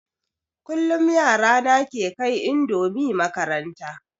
Kullum yara na ke kai indomi makaranta